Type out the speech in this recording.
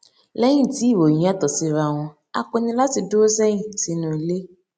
lẹyìn tí ìròyìn yàtọ síra wọn a pinnu láti dúró sẹyìn sínú ilé